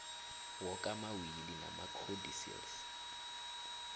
woke amawili namacodicils